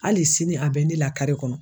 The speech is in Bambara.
Hali sini a bɛ ne lakari kɔnɔ